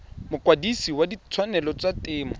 mokwadise wa ditshwanelo tsa temo